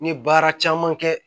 N ye baara caman kɛ